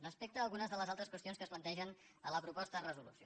respecte a algunes de les altres qüestions que es plantegen a la proposta de resolució